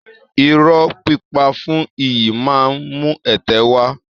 Irọ́ pípa fún iyì máa ń mú ẹ̀tẹ́ wá